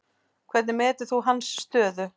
Hvernig metur þú hans stöðu?